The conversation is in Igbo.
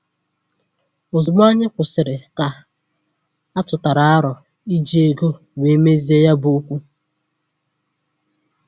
Ozugbo anyị kwụsịrị, ka atụtara aro iji ego wee mezie ya bụ okwu